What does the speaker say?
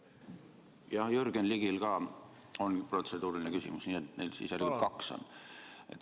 Jah, Jürgen Ligil on ka protseduuriline küsimus, nii et nüüd on neid järelikult kaks.